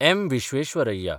M. Visvesvaraya